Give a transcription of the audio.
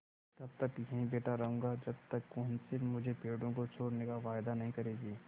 तब तक यहीं बैठा रहूँगा जब तक कौंसिल मुझे पेड़ों को छोड़ने का वायदा नहीं करेगी